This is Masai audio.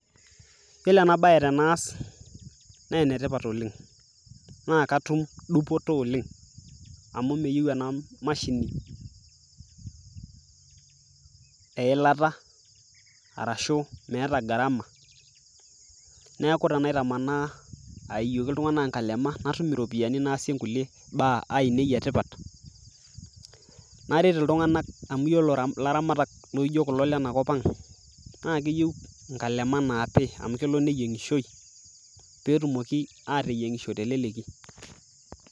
Yiolo na baye tenaas nee ene tipat oleng' amu meyau ena mashini eilata arashu meeta gharama. Neeku tenaitamaa aiyoki iltung'anak inkalema natum iropiani naasie nkulie baa ainei e tipat, naret iltung'anak amu iyiolo ilaramat laijo ile na kop ang' naake eyeu nkalema naapi amu kelo neyeng'ishoi pee etumoki ateyeng'isho te leleki.